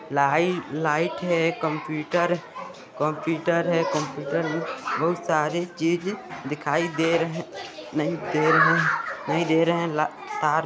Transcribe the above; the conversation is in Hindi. लाइट लाइट है कंप्यूटर कंप्यूटर है कंप्यूटर बहुत सारी चीज दिखाई दे रही नहीं दे रहे नहीं दे रहे ला तार--